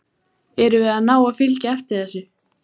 Erum við að ná að fylgja eftir þessu?